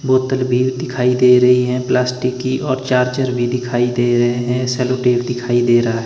बोतल भी दिखाई दे रही है प्लास्टिक की और चार्जर भी दिखाई दे रहे हैं सैलो टेप दिखाई दे रहा है।